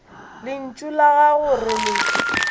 lentšu la gago re le